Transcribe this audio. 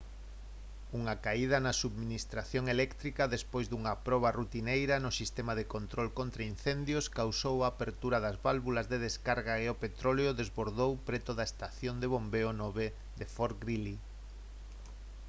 unha caída na subministración eléctrica despois dunha proba rutineira do sistema de control contraincendios causou a apertura das válvulas de descarga e o petróleo desbordou preto da estación de bombeo 9 de fort greely